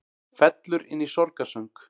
Fellur inn í sorgarsöng